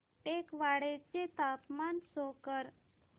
टेकवाडे चे तापमान शो कर